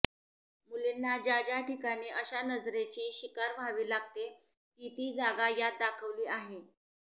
मुलींना ज्या ज्या ठिकाणी अशा नजरेची शिकार व्हावी लागते ती ती जागा यात दाखवली आहे